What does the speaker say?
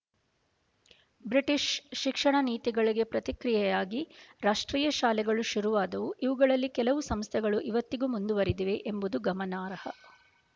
British ಶಿಕ್ಷಣ ನೀತಿಗಳಿಗೆ ಪ್ರತಿಕ್ರಿಯೆಯಾಗಿ ರಾಷ್ಟ್ರೀಯ ಶಾಲೆಗಳು ಶುರುವಾದವು ಇವುಗಳಲ್ಲಿ ಕೆಲವು ಸಂಸ್ಥೆಗಳು ಇವತ್ತಿಗೂ ಮುಂದುವರೆದಿವೆ ಎಂಬುದು ಗಮನಾರ್ಹ